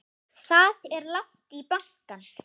Það er langt í bankann!